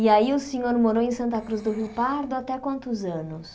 E aí o senhor morou em Santa Cruz do Rio Pardo até quantos anos?